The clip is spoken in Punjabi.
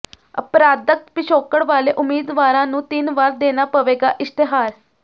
ਅਪਰਾਧਕ ਪਿਛੋਕੜ ਵਾਲੇ ਉਮੀਦਵਾਰਾਂ ਨੂੰ ਤਿੰਨ ਵਾਰ ਦੇਣਾ ਪਵੇਗਾ ਇਸ਼ਤਿਹਾਰ